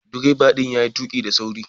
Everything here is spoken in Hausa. Direba din ya yi tuki da saurin.